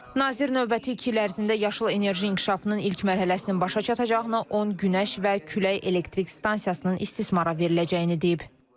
Nazir növbəti iki il ərzində yaşıl enerji inkişafının ilk mərhələsinin başa çatacağını, 10 günəş və külək elektrik stansiyasının istismara veriləcəyini deyib.